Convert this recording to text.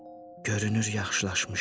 Görünür yaxşılaşmışam.